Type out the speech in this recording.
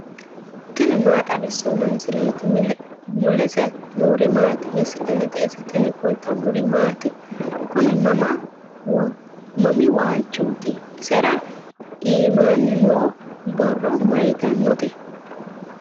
tini maa xawissanno misileeti ? mulese noori maati ? hiissinannite ise ? tini kultannori maati? Kunni mami waalichotti ? isira iimmanni noo borro mayiittanotte?